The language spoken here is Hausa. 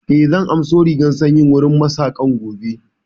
Eh, zan an so jan rigan sanyin wurin Mak saƙan gobe